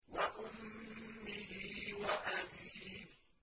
وَأُمِّهِ وَأَبِيهِ